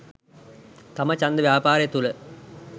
තම ඡන්ද ව්‍යාපාරය තුළ